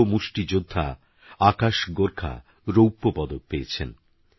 যুবমুষ্টিযোদ্ধাআকাশগোর্খারৌপ্যপদকপেয়েছেন